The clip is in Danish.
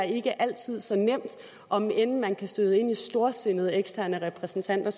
ikke altid er så nemt om end man kan støde ind i storsindede eksterne repræsentanter